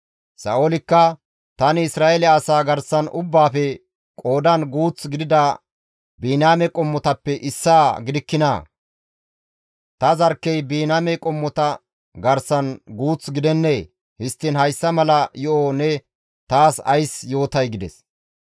Sa7oolikka, «Tani Isra7eele asaa garsan ubbaafe qoodan guuth gidida Biniyaame qommotappe issaa gidikkinaa? Ta zarkkey Biniyaame qommota garsan guuth gidennee? Histtiin hayssa mala yo7o ne taas ays yootay?» gides.